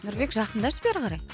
нұрбек жақындашы бері қарай